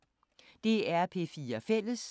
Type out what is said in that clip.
DR P4 Fælles